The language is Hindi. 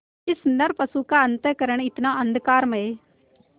इस नरपशु का अंतःकरण कितना अंधकारमय